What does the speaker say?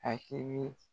Akili